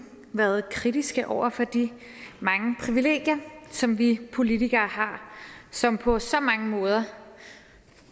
været kritiske over for de mange privilegier som vi politikere har som på så mange måder